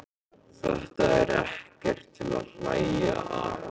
Þetta er ekkert til að hlæja að!